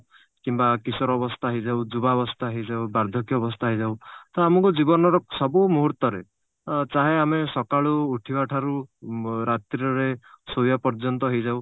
କିମ୍ବା କିଶୋର ଅବସ୍ଥା ହେଇଯାଉ ଯୁବାବସ୍ଥା ହେଇଯାଉ ବାର୍ଦ୍ଧକ୍ୟ ଅବସ୍ଥା ହେଇଯାଉ ତ ଆମକୁ ଜୀବନର ସବୁ ମୁହୂର୍ତରେ ଆ ଚାହେଁ ଆମେ ସକାଳୁ ଉଠିବା ଠାରୁ ଅ ରାତ୍ରିରେ ଶୋଇବା ପର୍ଯ୍ୟନ୍ତ ହେଇଯାଉ